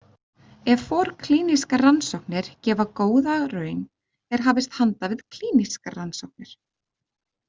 Ef forklínískar rannsóknir gefa góða raun er hafist handa við klínískar rannsóknir.